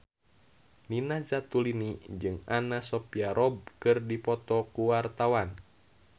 Nina Zatulini jeung Anna Sophia Robb keur dipoto ku wartawan